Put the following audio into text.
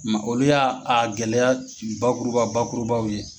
Mɛ olu y'a a gɛlɛya bakuruba bakurubaw ye.